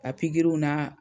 A pikiriw na.